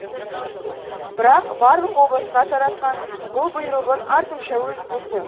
бірақ барлық облысқа таратқан бұл бұйрығын артынша өзі бұзды